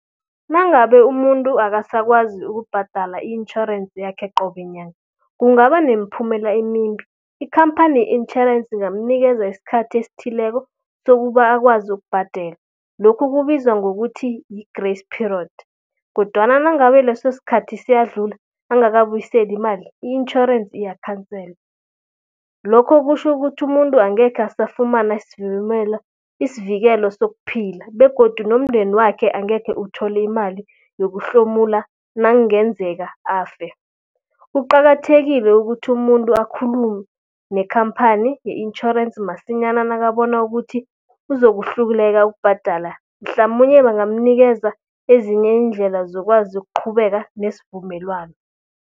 Nangabe umuntu akasakwazi ukubhadala i-intjhorense yakhe qobe nyanga, kungaba nemiphumela emimbi. Ikhamphani ye-intjhorensi ingamnikeza iskhathi esithileko sokuba akwazi ukubhadela, lokhu kubizwa ngokuthi yi-grace period. Kodwana nangabe leso skhathi siyadlula, angakabuyiseli imali i-intjhorensi iyakhanselwa. Lokho kutjho ukuthi umuntu angekhe asafumana isivikelo sokuphila begodu nomndeni wakhe angekhe uthole imali yokuhlomula nangenzeka afe. Kuqakathekile ukuthi umuntu akhulume nekhamphani ye-intjhorensi masinyana, nakabona ukuthi uzokuhluleka ukubhadala. Mhlamunye bangamnikeza ezinye iindlela zokwazi ukuqhubeka nesivumelwano.